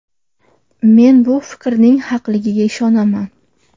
Men bu fikrning haqligiga ishonaman”.